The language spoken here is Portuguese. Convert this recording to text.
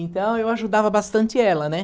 Então, eu ajudava bastante ela, né?